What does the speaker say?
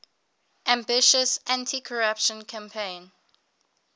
ambitious anticorruption campaign